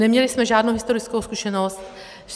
Neměli jsme žádnou historickou zkušenost.